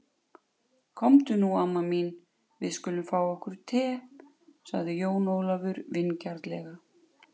Komdu nú amma mín, við skulum fá okkur te, sagði Jón Ólafur vingjarnlega.